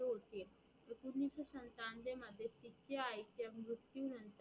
तिचा आईचा मृत्यू नंतर